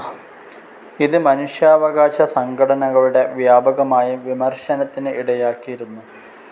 ഇത് മനുഷ്യാവകാശ സംഘടനകളുടെ വ്യാപകമായ വിമർശനത്തിന് ഇടയാക്കിയിരുന്നു.